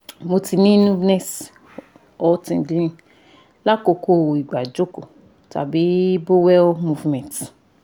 mo ti ni cs] numbness or tingling lakoko nigba ijoko tabi bowel movement